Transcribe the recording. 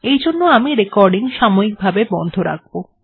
এইজন্য আমি এখন রেকর্ডিং সাময়িক ভাবে বন্ধ রাখব